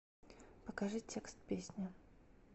покажи текст песни